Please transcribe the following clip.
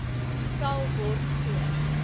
sal word so